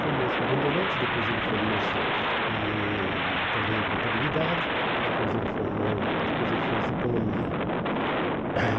Formou-se em Bandeirantes, depois ele formou-se em também em Contabilidade, depois ele formou depois ele fez Economia.